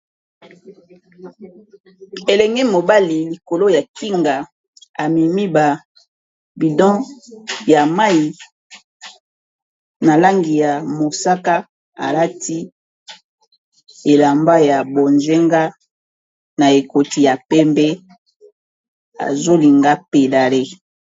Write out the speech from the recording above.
Elenge mobali likolo ya kinga amemi ba bidon ya mayi na langi ya mosaka alati elamba ya bonjenga na ekoti ya pembe azolinga a pedale.